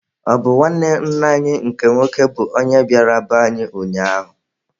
Ọ bụ nwanne nna anyị nke nwoke bụ onye bịara be anyị ụnyaahụ.